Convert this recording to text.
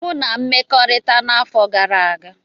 M na mmekọrịta n'afọ gara aga.